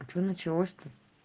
а что началось то